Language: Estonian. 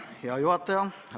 Hea juhataja!